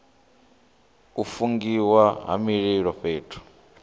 u fungiwa ha mililo fhethu